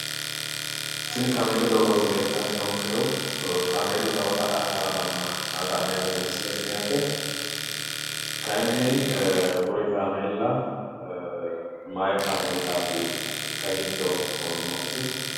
Tini kaameelu doogooti leeltanni noonkehu. Kaameelu kawa ka'aa haramanna la'neemmote misile tini yaate. Kayinni kuri kaameella mayi kaameellaatikka giddo nooti?